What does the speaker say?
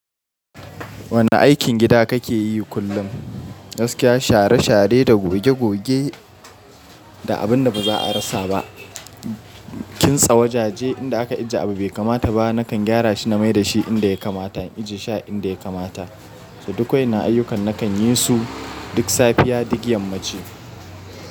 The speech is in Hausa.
Wane aikin gida kake yi kullum? Gaskiya share share da goge goge da abun da baza a rasa ba. Kitsa wajaje inda aka ajiye abu bai kamata ba. Nakan gyara shi na maida shi inda ya kamata, in ajiye shi a inda ya kamata. Duk wa'inan ayyukan nakan yi su duk safiya duk yammaci.